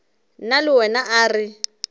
nna le wena a re